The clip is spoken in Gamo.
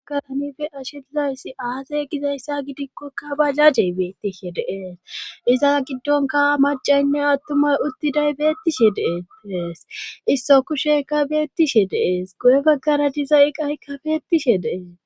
agatanife ashilayssi aazey gizayssa gidikkokka bajajey beettishe deees iza giddonka macaynne attumay uttiday beettishe deetees isso kusheka beettishe deees guye baggara diza iqaykka beettishe dees